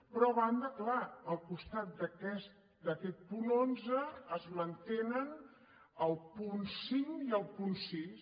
però a banda és clar al costat d’aquest punt onze es mantenen el punt cinc i el punt sis